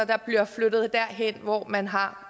der bliver flyttet derhen hvor man har